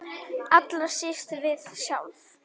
Allra síst við sjálf.